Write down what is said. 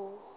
o